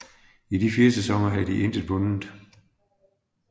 I fire sæsoner havde de intet vundet